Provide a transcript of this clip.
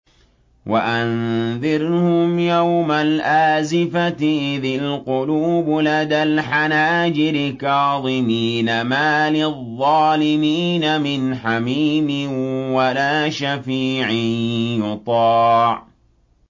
وَأَنذِرْهُمْ يَوْمَ الْآزِفَةِ إِذِ الْقُلُوبُ لَدَى الْحَنَاجِرِ كَاظِمِينَ ۚ مَا لِلظَّالِمِينَ مِنْ حَمِيمٍ وَلَا شَفِيعٍ يُطَاعُ